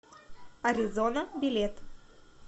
аризона билет